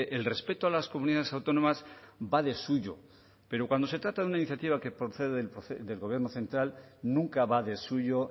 el respeto a las comunidades autónomas va de suyo pero cuando se trata de una iniciativa que procede del gobierno central nunca va de suyo